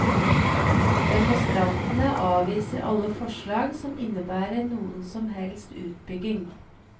Demonstrantene avviser alle forslag som innebærer noen som helst utbygging.